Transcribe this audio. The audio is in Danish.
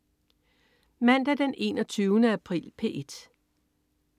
Mandag den 21. april - P1: